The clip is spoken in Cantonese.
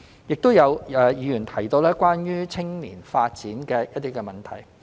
亦有議員提到關於青年發展的一些問題。